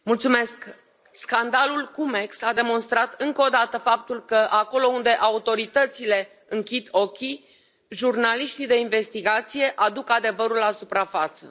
Doamnă președintă, scandalul Cum Ex a demonstrat încă o dată faptul că acolo unde autoritățile închid ochii, jurnaliștii de investigație aduc adevărul la suprafață.